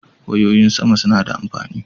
Wayoyin sama suna da amfani.